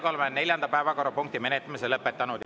Oleme neljanda päevakorrapunkti menetlemise lõpetanud.